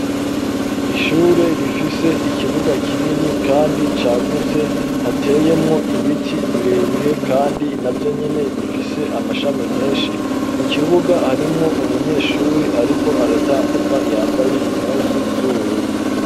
Ishure rifise ikibuga kinini, kandi cagutse hateyemwo ibiti birebire, kandi na vyo nyene bifise amashami menshi mu kibuga harimwo umunyeshuri, ariko aratambuka iyambaye impuzu z'ubururu.